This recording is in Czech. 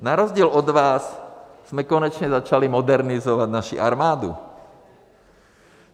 Na rozdíl od vás jsme konečně začali modernizovat naši armádu.